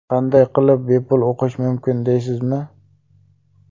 Qanday qilib bepul o‘qish mumkin, deysizmi?